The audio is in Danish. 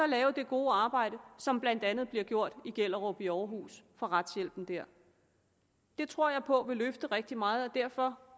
lave det gode arbejde som blandt andet bliver gjort i gellerup ved aarhus af retshjælpen der det tror jeg på vil løfte rigtig meget derfor